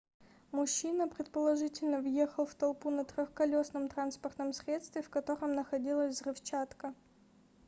мужчина предположительно въехал в толпу на трехколесном транспортном средстве в котором находилась взрывчатка